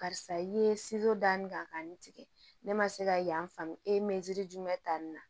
Karisa i ye danni kɛ ka n tigɛ ne ma se ka yan faamu e me jumɛn ta nin na